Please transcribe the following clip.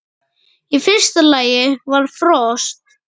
Í fyrsta lagi var frost.